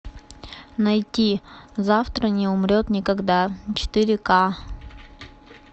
найти завтра не умрет никогда четыре ка